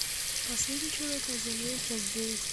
последний человек на земле часть девять